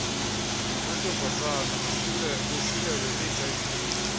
namantombazana bosulelwe yihiv